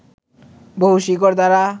বহু শিকড় দ্বারা